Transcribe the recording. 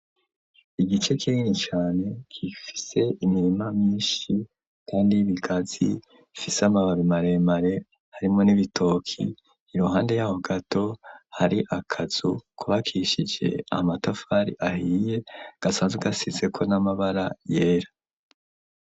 Igice kinini cane gifise imirima myishi kandi y'ibigazi ifise amababi maremare harimwo n'ibitoki iruhande yaho gato hari akazu kubakishije amatafari ahiye gasanzwe gasizeko n'amabara yera.